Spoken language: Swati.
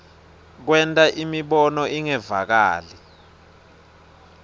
kwenta imibono ingevakali